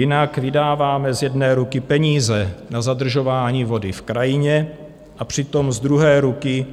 Jinak vydáváme z jedné ruky peníze na zadržování vody v krajině, a přitom z druhé ruky